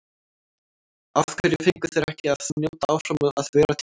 Af hverju fengu þeir ekki að njóta áfram að vera til?